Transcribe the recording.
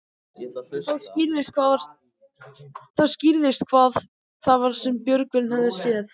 Þá skýrðist hvað það var sem Björgvin hafði séð.